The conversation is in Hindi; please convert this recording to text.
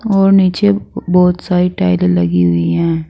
और नीचे बहुत सारी टाइले लगी हुई हैं।